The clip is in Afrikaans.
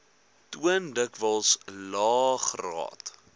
toon dikwels laegraad